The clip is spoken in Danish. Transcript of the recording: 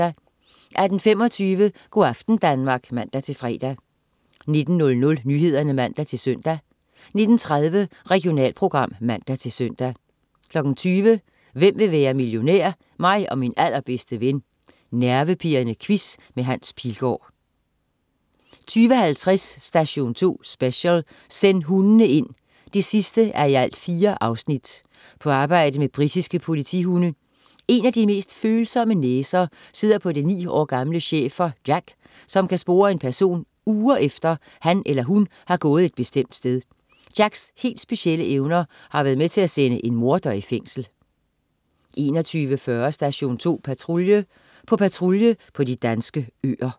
18.25 Go' aften Danmark (man-fre) 19.00 Nyhederne (man-søn) 19.30 Regionalprogram (man-søn) 20.00 Hvem vil være millionær? Mig og min allerbedste ven. Nervepirrende quiz med Hans Pilgaard 20.50 Station 2 Special: Send hundene ind! 4:4. På arbejde med britiske politihunde. En af de mest følsomme næser sidder på den ni år gamle schæfer, Jac, som kan spore en person uger efter, han eller hun har gået et bestemt sted. Jacs helt specielle evner har været med til at sende en morder i fængsel 21.40 Station 2 Patrulje. På patrulje på de danske øer